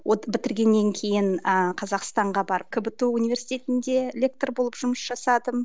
бітіргеннен кейін ыыы қазақстанға барып кбту университетінде лектор болып жұмыс жасадым